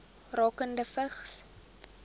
rakende vigs